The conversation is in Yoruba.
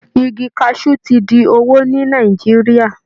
Igi kaṣú ti di owó ní Nàìjíríà